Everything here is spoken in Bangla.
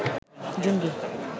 জঙ্গী